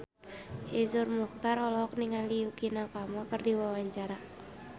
Iszur Muchtar olohok ningali Yukie Nakama keur diwawancara